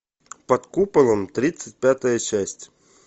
под куполом тридцать пятая часть